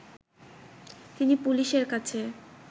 তিনি পুলিশের কাছে